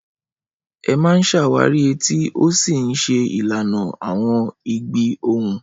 Ẹ máa ń ṣàwárí etí ó sì ń ṣe ìlànà àwọn ìgbì ohùn.